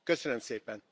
Köszönöm szépen!